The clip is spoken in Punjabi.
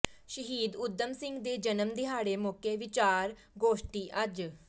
ਸ਼ਹੀਦ ਊਧਮ ਸਿੰਘ ਦੇ ਜਨਮ ਦਿਹਾੜੇ ਮੌਕੇ ਵਿਚਾਰ ਗੋਸ਼ਟੀ ਅੱਜ